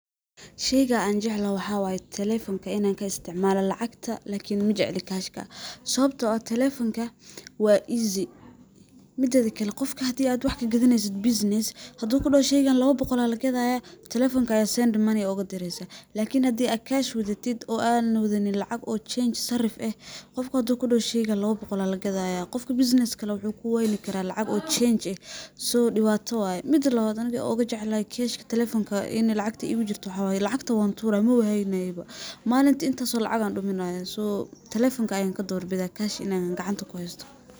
Sheyga anjeclhy waxaa waye telefonka in an kaisticmalo lacagta majecli kashka, sababto ah telefonka wa easy mideda kale hadi ad wax kagadaneysid bussines hadu kudahosheygan lawa boqol aa lagadaya telefonka aa send money oga direysaah, lakin hadi ad kash wadatid oo na wadanin lacag change sarif eh , qofka hadu kudaho sheyga lawa boqol aa lagadaya, qofka bussiness-ka leh, waxu wayni karaah lacag change eh , so diwata waye, midi lawad an ogajeclhy kash telefonka waxaa waye ,lacagta wan turaah mawa hayni kar, malinti intas oo lacag ah duminaya, so telefonka an kador bidaah kash in gacanta an kuhaysto.